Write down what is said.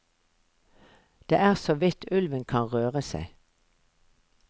Det er så vidt ulven kan røre seg.